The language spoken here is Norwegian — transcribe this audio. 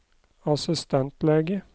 assistentlege